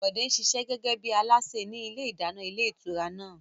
Bọ̀dé ń ṣiṣẹ́ gẹ́gẹ́ bí alásè ní ilé ìdáná ilé ìtura náà